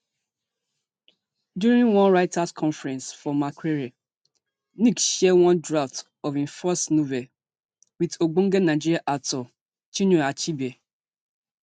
during one writers conference for makerere ngg share one draft of in first novel wit ogbonge nigeria author chinua achebe